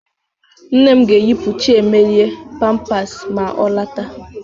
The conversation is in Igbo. Nne m ga-eyipu Chiemelie pampasị ma ọ lọta.